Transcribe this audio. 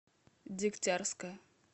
дегтярска